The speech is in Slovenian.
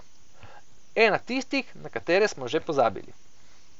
Ena tistih, na katere smo že pozabili.